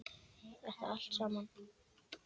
Þetta allt saman.